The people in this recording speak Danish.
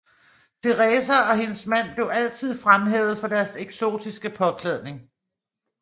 Teresa og hendes mand blev altid fremhævet for deres eksotiske påklædning